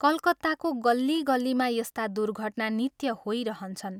कलकत्ताको गल्ली गल्लीमा यस्ता दुर्घटना नित्य होइरहन्छन्।